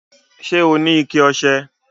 Ṣẹ́ ọ ni ìkẹ̀ ọṣẹ?